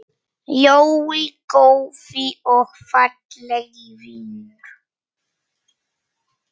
Jói, góði og fallegi vinur.